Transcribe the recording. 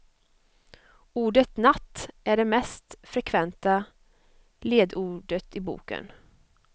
Ordet natt är det mest frekventa ledordet i boken.